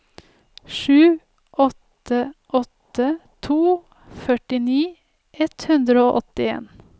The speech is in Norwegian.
sju åtte åtte to førtini ett hundre og åttien